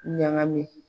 Ɲagami